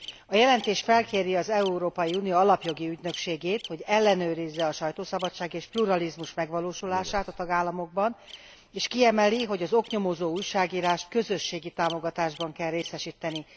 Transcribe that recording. A jelentés felkéri az Európai Unió Alapjogi Ügynökségét, hogy ellenőrizze a sajtószabadság és pluralizmus megvalósulását a tagállamokban, és kiemeli, hogy az oknyomozó újságírást közösségi támogatásban kell részesíteni.